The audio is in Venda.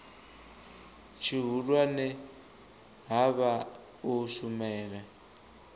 tshihulwane ha vha u shumela